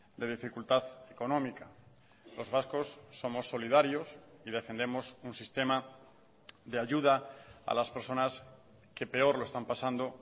de dificultad económica los vascos somos solidarios y defendemos un sistema de ayuda a las personas que peor lo están pasando